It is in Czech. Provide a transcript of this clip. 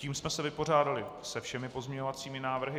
Tím jsme se vypořádali se všemi pozměňovacími návrhy.